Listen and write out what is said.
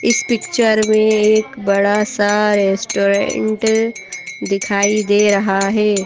इस पिक्चर में एक बड़ा सा रेस्टोरेंट दिखाई दे रहा है।